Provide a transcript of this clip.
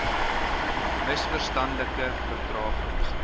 ms verstandelike vertraging